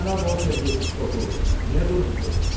Cənab Ose yepiskopu, niyə durmusuz?